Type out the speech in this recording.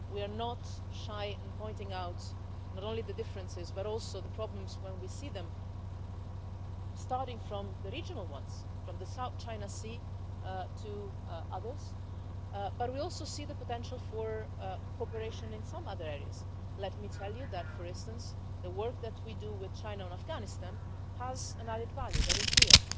We are not shy in pointing out not only the differences, but also the problems when we see them, starting with the regional ones, from the South China Sea to others, but we also see the potential for cooperation in some other areas. Let me tell you, for instance, that the work that we do with China on Afghanistan has an added value that is real.